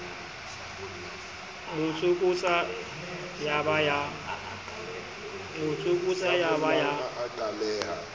mo tsokotsa ya ba ya